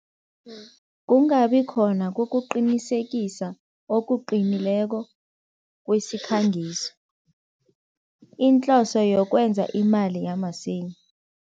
Kungabi khona kokuqinisekisa okuqinileko kwesikhangiso, inhloso yokwenza imali yamasinya.